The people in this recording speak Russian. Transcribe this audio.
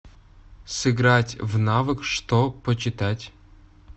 сыграть в навык что почитать